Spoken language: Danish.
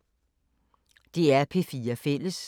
DR P4 Fælles